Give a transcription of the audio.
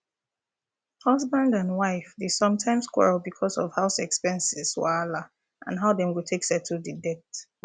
husband and wife dey sometimes quarrel because of house expenses wahala and how dem go take settle the debt